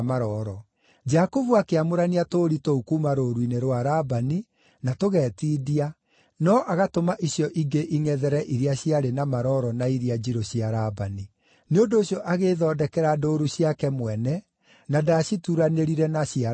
Jakubu akĩamũrania tũũri tũu kuuma rũũru-inĩ rwa Labani, na tũgetindia, no agatũma icio ingĩ ingʼethere iria ciarĩ na maroro na iria njirũ cia Labani. Nĩ ũndũ ũcio agĩĩthondekera ndũũru ciake mwene, na ndaacituranĩrire na cia Labani.